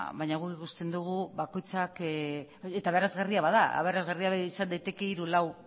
baina guk ikusten dugu bakoitzak eta aberasgarria bada aberasgarria izan daiteke hiruzpalau